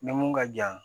Ni mun ka jan